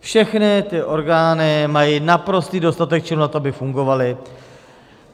Všechny ty orgány mají naprostý dostatek činů na to, aby fungovaly.